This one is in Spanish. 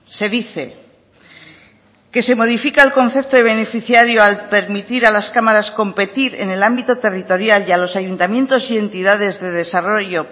se dice que se modifica el concepto de beneficiario al permitir a las cámaras competir en el ámbito territorial y a los ayuntamientos y entidades de desarrollo